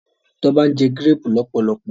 Toba njé Gírèèpù lọpọlọpọ.